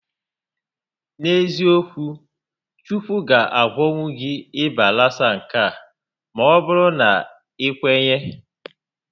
N'eziokwu, Chukwu ga agwọnwu gị ịba lasa nke a maọbụrụ na i kwenye